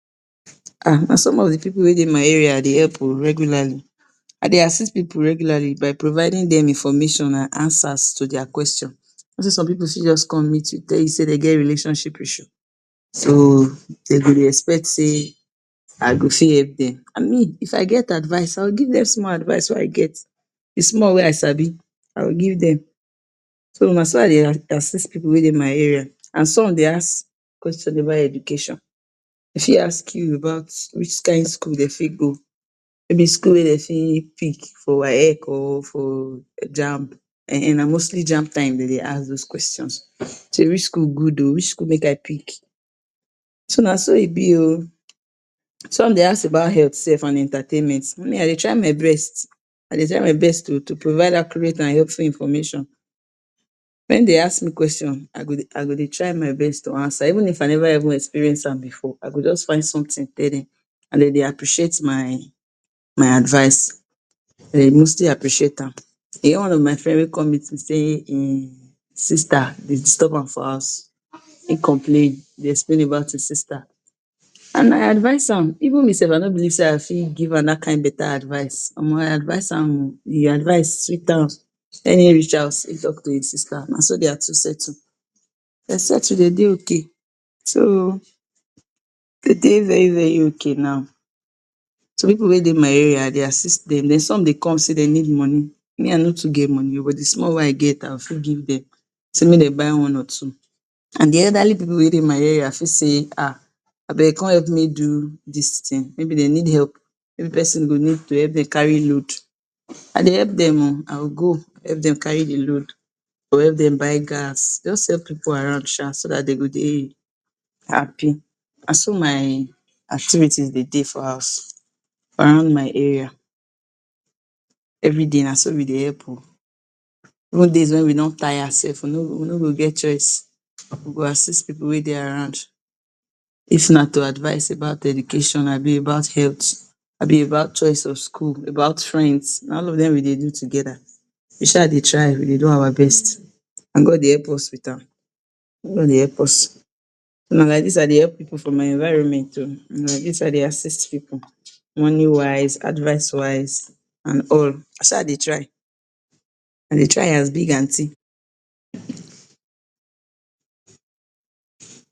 um na some of the pipu wey dey my area I dey help ooh regularly I dey assist pipu regularly by providing dem information and answers to their questions, you know sey some pipu fit just come meet you tell you say dem get relationship issue so dem go dey expect sey I go fit help dem and me if I get advice I go give dem small advice wey I get the small wey I sabi I go give dem so na so I dey assist pipu wey dey my area and some dey ask question about education dem fit ask you about which kind school dem fit go maybe school wey dem fit pick for waec or for jamb um na mostly jamb time dem dey ask those questions sey which school good ooh which school make I pick, so na so e be ooh, some dey ask about health self and entertainment me I dey try my best I dey try my best to provide accurate and helpful information, wen dem ask me question I go dey try my best to answer even if I never even experience am before I go just find something tell dem and dem dey appreciate my advice dem mostly appreciate am e get one of my friend wey come meet me say him sister dey disturb am for house him complain dey explain about him sister and I advice am even me self I no believe sey I fit give am that kind better advice um I advice am ooh the advice sweet am wen him reach house him talk to him sister na so their two settle, dem settle dem dey ok so dem dey very very ok now some pipu wey dey my area I dey assist dem, den some dey come sey dem need money me I no too get money ooh but the small wey I get I go fit give dem sey make dem buy one or two and the elderly people wey dey my area fit sey um abeg come help me do this thing maybe dem need help maybe person go need to help dem carry load I dey help dem ooh I go go help dem carry the load, go help dem buy gas just help pipu around sha so that dey go dey happy na so my activities dey dey for house for around my area everyday na so we dey help ooh even days wen we don tire self we no go get choice we go assist pipu wey dey around, if na to advice about education abi about health abi about choice of school about friends na all of dem we dey do together we sha dey try we dey do our best and God dey help us with am God dey help us so na like this I dey help pipu for my environment ooh na like this I dey assist pipu, money wise advice wise and all I sha dey try I dey try as big aunty um.